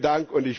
Schönen